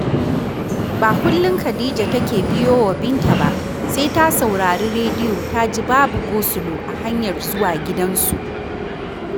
Ba kullum Khadija take biyo wa Binta ba, sai ta saurari rediyo ta ji babu gosulo a hanyar zuwa gidansu